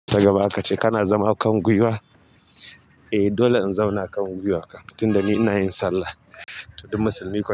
Ta gaba akace kana zama kan gwiwa? Eh dole in zauna akan gwiwa kam, tunda ni ina yin sallah. To, duk musulmi kuwa.